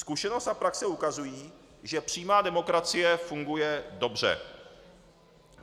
Zkušenost a praxe ukazují, že přímá demokracie funguje dobře.